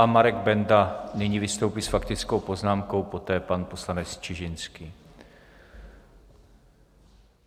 A Marek Benda nyní vystoupí s faktickou poznámkou, poté pan poslanec Čižinský.